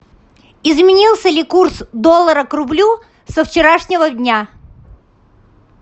изменился ли курс доллара к рублю со вчерашнего дня